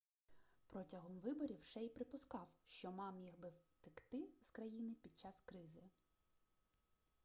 протягом виборів шей припускав що ма міг би втекти з країни під час кризи